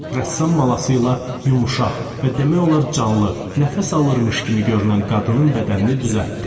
Rəssam malası ilə yumşaq və demək olar canlı, nəfəs alırmış kimi görünən qadının bədənini düzəltdi.